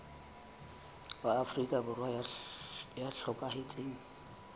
wa afrika borwa ya hlokahetseng